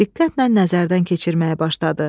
Diqqətlə nəzərdən keçirməyə başladı.